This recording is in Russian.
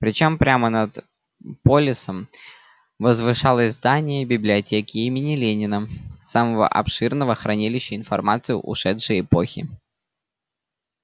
причём прямо над полисом возвышалось здание библиотеки имени ленина самого обширного хранилища информации ушедшей эпохи